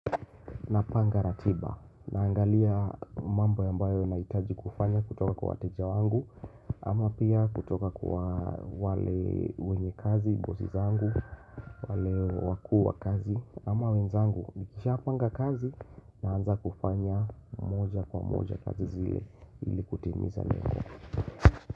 Napanga ratiba, naangalia mambo ambayo nahitaji kufanya kutoka kwa wateja wangu ama pia kutoka kwa wale wenye kazi, bosi zangu, wale wakuu wa kazi ama wenzangu nikisha panga kazi na anza kufanya moja kwa moja kazi zile ili kutimiza lengo.